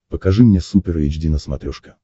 покажи мне супер эйч ди на смотрешке